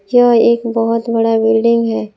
यह एक बहुत बड़ा बिल्डिंग है।